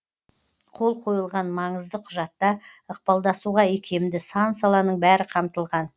қол қойылған маңызды құжатта ықпалдасуға икемді сан саланың бәрі қамтылған